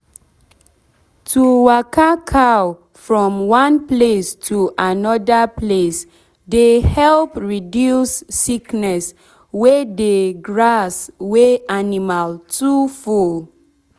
to waka cow from one place to anoda place dey help reduce sickness wey dey grass wey animall too full.